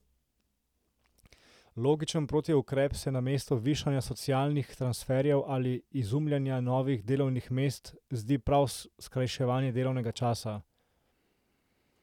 Logičen protiukrep se, namesto višanja socialnih transferjev ali izumljanja novih delovnih mest, zdi prav skrajševanje delovnega časa.